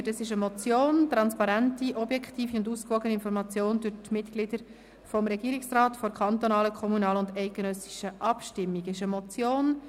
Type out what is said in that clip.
Es ist eine Motion mit dem Titel «Transparente, objektive und ausgewogene Information durch die Mitglieder des Regierungsrates vor kantonalen, kommunalen und eidgenössischen Abstimmungen».